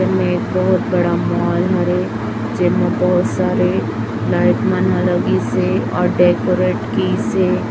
हमें एक बहुत बड़ा मॉल हरे जिसमें बहुत सारे लाइट मन लगी से और डेकोरेट की से --